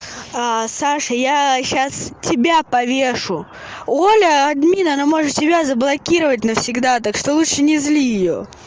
саша я сейчас тебя повешу оля админ она может себя заблокировать навсегда так что лучше не зли её